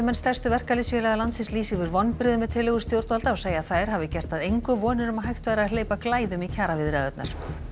stærstu verkalýðsfélaga landsins lýsa yfir vonbrigðum með tillögur stjórnvalda og segja að þær hafi gert að engu vonir um að hægt væri að hleypa glæðum í kjaraviðræðurnar